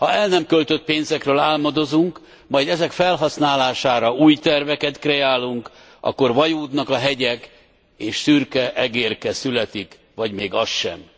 Ha el nem költött pénzekről álmodozunk, majd ezek felhasználására új terveket kreálunk, akkor vajúdnak a hegyek, és szürke egérke születik vagy még az sem.